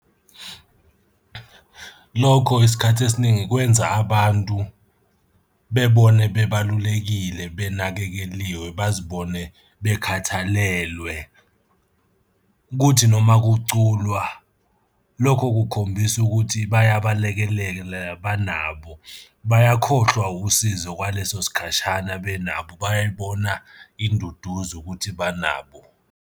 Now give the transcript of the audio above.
Lokho isikhathi esiningi kwenza abantu bebone bebalulekile benakekeliwe, bazibone bekhathalelwe. Kuthi noma kuculwa, lokho kukhombisa ukuthi bayabalekelela banabo. Bayakhohlwa usizo okwaleso sikhashana benabo, bayay'bona induduzo ukuthi banabo.